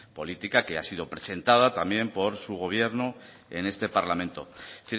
política que ha sido presentada también por su gobierno en este parlamento es